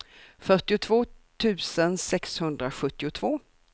fyrtiotvå tusen sexhundrasjuttiotvå